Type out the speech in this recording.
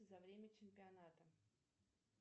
за время чемпионата